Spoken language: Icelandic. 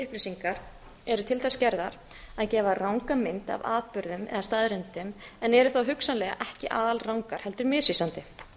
upplýsingar eru til þess gerðar að gefa ranga mynd af atburðum eða staðreyndum en eru þá hugsanlega ekki alrangar heldur misvísandi